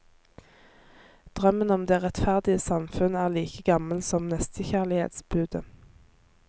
Drømmen om det rettferdige samfunn er like gammelt som nestekjærlighetsbudet.